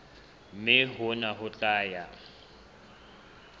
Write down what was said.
mme hona ho tla ya